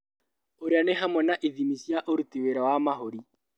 Ũria nĩ hamwe na ithimi cia ũruti wĩra wa mahũri